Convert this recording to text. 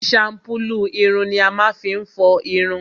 shampulu ìrùn ni a máá fi n fọ ìrùn.